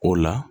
O la